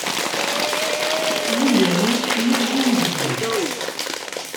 еленой евгеньевной